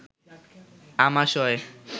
আমাশয়